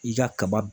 I ka kaba